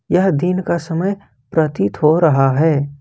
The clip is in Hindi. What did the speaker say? यह दिन का समय प्रतीत हो रहा है।